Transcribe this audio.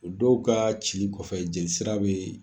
O dɔw ka cili kɔfɛ jeli sira bɛ